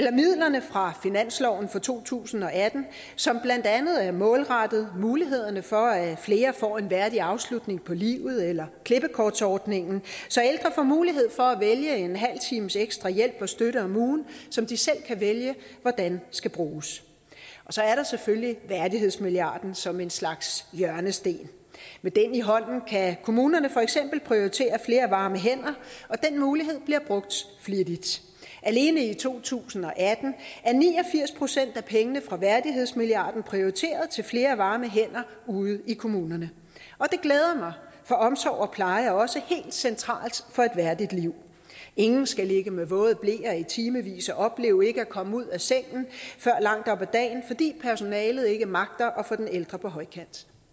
er midlerne fra finansloven for to tusind og atten som blandt andet er målrettet mulighederne for at flere får en værdig afslutning på livet eller der klippekortordningen så ældre får mulighed for at vælge en halv times ekstra hjælp og støtte om ugen som de selv kan vælge hvordan skal bruges og så er der selvfølgelig værdighedsmilliarden som en slags hjørnesten med den i hånden kan kommunerne for eksempel prioritere flere varme hænder og den mulighed bliver brugt flittigt alene i to tusind og atten er ni og firs procent af pengene fra værdighedsmilliarden prioriteret til flere varme hænder ude i kommunerne og det glæder mig for omsorg og pleje er også helt centralt for et værdigt liv ingen skal ligge med våde bleer i timevis og opleve ikke at komme ud af sengen før langt op ad dagen fordi personalet ikke magter at få den ældre på højkant